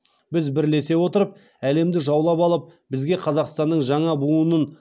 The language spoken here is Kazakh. біз бірлесе отырып әлемді жаулап алып бізге қазақстанның жаңа буынын